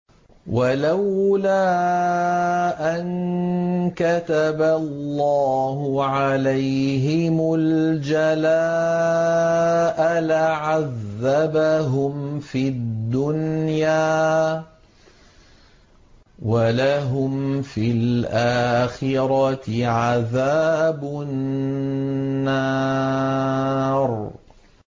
وَلَوْلَا أَن كَتَبَ اللَّهُ عَلَيْهِمُ الْجَلَاءَ لَعَذَّبَهُمْ فِي الدُّنْيَا ۖ وَلَهُمْ فِي الْآخِرَةِ عَذَابُ النَّارِ